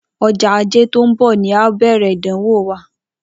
Ojó Ajé tó n bò ni a óò bèrè ìdánwò wa